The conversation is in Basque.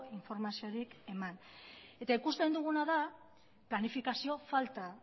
informaziorik eman eta ikusten duguna da planifikazio falta